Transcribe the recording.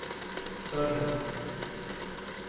större